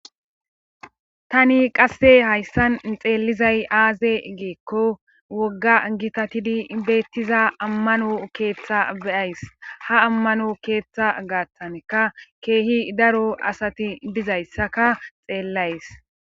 tani qasse hayssan xeellizay aaze geekko wogga gitatidi beettiza ammano keeththa beyays ha ammano keeththa gaataneka keehi daro asati dizayssaka xeellays